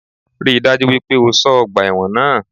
Rí i dájú wípé o só ọgbà ẹ́wọ̀n náà